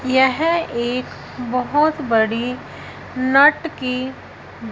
यह एक बहोत बड़ी नट की --